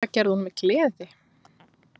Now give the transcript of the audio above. Það gerði hún með gleði.